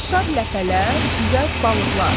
Qaçışar ləpələr, üzər balıqlar.